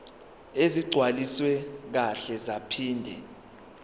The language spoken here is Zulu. ezigcwaliswe kahle zaphinde